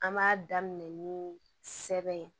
An b'a daminɛ ni sɛbɛn ye